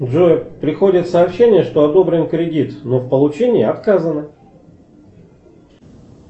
джой приходит сообщение что одобрен кредит но в получении отказано